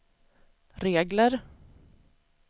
regler